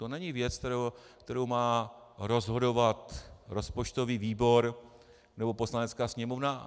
To není věc, kterou má rozhodovat rozpočtový výbor nebo Poslanecká sněmovna.